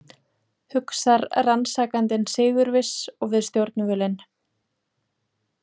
Hugsar rannsakandinn sigurviss og við stjórnvölinn.